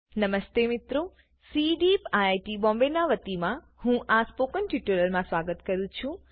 નમસ્તે મિત્રોCDEEP આઇઆઇટી Bombayના વતીમાં હું આ સ્પોકન ટ્યુટોરીયલમાં સ્વાગત કરું છુ